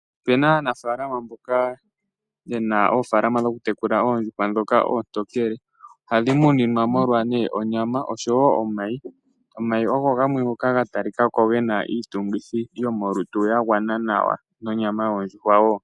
Opu na aanafalama mboka ye na oofaalama ndhoka dhokutekula oondjuhwa ndhoka oontookele. Ohadhi munwa molwa onyama noshowo omayi. Omayi ogo gamwe ngoka ga talika ko ge na iitungithilutu ya gwana nawa nosho tuu onyama.